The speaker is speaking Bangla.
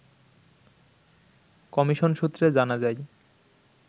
কমিশন সূত্রে জানা যায়